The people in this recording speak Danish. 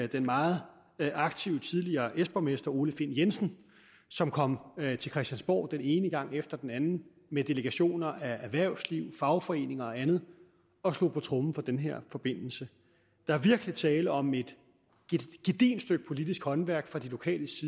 den meget aktive tidligere s borgmester ole find jensen som kom til christiansborg den ene gang efter den anden med delegationer fra erhvervslivet fagforeninger og andet og slog på tromme for den her forbindelse der er virkelig tale om et gedigent stykke politisk håndværk fra de lokales